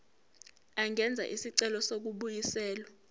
angenza isicelo sokubuyiselwa